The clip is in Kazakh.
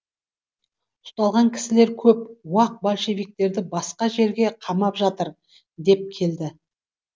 ұсталған кісілер көп уақ большевиктерді басқа жерге қамап жатыр деп келді